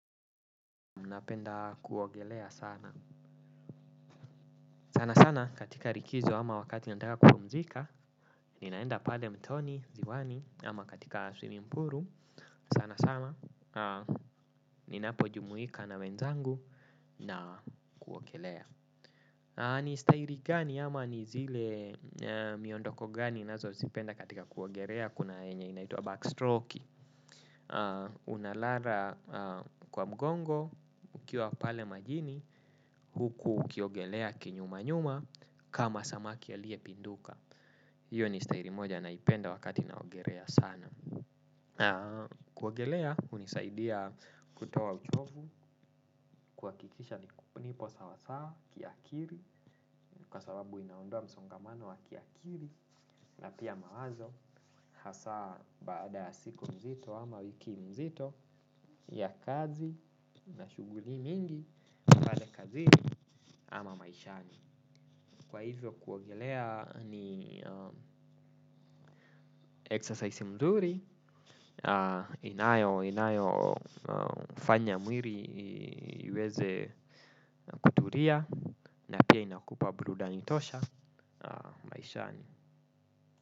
Napenda kuogelea sana. Sana sana katika likizo ama wakati nataka kupumzika. Ninaenda pale mtoni, ziwani ama katika swimming pool, sana sana. Ninapo jumuika na wenzangu na kuogelea. Ni stairi gani ama ni zile miondoko gani ninazozipenda katika kuogelea. Kuna yenye inaitwa backstroke. Unalala kwa mgongo ukiwa pale majini huku ukiogelea kinyuma nyuma kama samaki aliyepinduka hiyo ni stairi moja naipenda wakati naogelea sana kuogelea hunisaidia kutoa uchovu kuhakikisha nipo sawasawa kiakili kwa sababu inaondoa msongamano wa kiakili na pia mawazo hasa baada ya siku mzito ama wiki mzito ya kazi na shughuli mingi pale kazini ama maishani. Kwa hivyo kuogelea ni exercise mzuri. Inayo inayofanya mwili iweze kutulia. Na pia inakupa burudani tosha maishani.